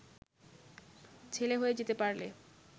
ছেলে হয়ে যেতে পারলে